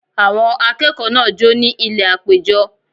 Àwọn akẹ́kọ̀ọ́ náà jó ní ilẹ̀ àpéjọ